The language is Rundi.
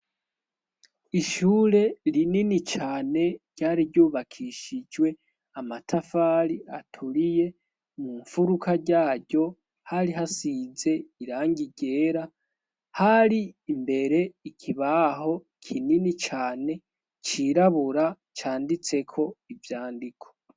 ishure rinini cane ryari ryubakishijwe amatafari aturiye mu mfuruka ryaryo hari hasize irangigera hari imbere ikibaho kinini cane cirabura canditseko ibyandiko.